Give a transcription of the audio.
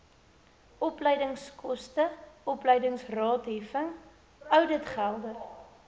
opleidingskoste opleidingsraadheffing ouditgelde